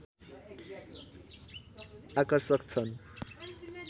आकर्षक छन्